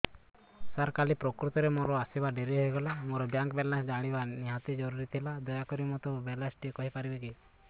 ସାର କାଲି ପ୍ରକୃତରେ ମୋର ଆସିବା ଡେରି ହେଇଗଲା ମୋର ବ୍ୟାଙ୍କ ବାଲାନ୍ସ ଜାଣିବା ନିହାତି ଜରୁରୀ ଥିଲା ଦୟାକରି ମୋତେ ମୋର ବାଲାନ୍ସ ଟି କହିପାରିବେକି